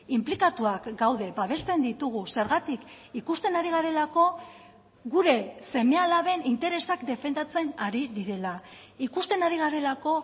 inplikatuak gaude babesten ditugu zergatik ikusten ari garelako gure seme alaben interesak defendatzen ari direla ikusten ari garelako